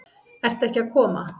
Ert ekki að koma?